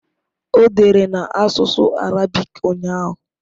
O dere na asụsụ Arabik ụnyahụ